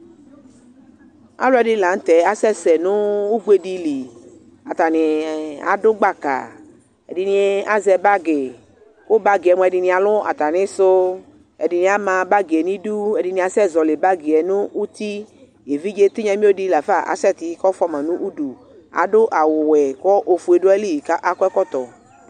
Alu ɛdini lanu tɛ asɛsɛ nʋ ugbediliAtani adʋ gbaka Ɛdini azɛ bagi Kʋ bagi yɛ mua, ɛdini alʋ atamisuƐdini ama bagi yɛ niduɛdini asɛzɔli bagi yɛ nʋ utiEvidze tinya mio di lafa asɛti , kʋ ɔfuama nʋ uduAdʋ awu wɛ , kʋ ofue dʋ ayili , kʋ akɔ ɛkɔtɔ